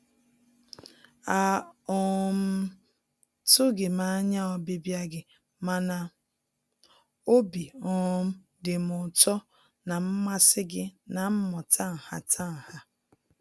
A um tụghị m anya ọbịbịa gị mana obi um dị m ụtọ na mmasị gị na mmụta nhatanha.